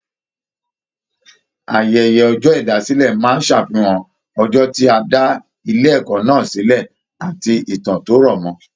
Ayẹyẹ ọjọ ìdásílẹ̀ máa n ṣàfihàn ọjọ ti a dà ilé ẹ̀kọ́ náà silẹ àti ìtàn to rọmọ.